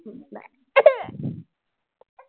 Bye.